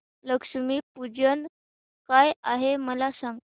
लक्ष्मी पूजन काय आहे मला सांग